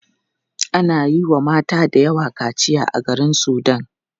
Ana yiwa mata dayawa kaciya a garin sudan.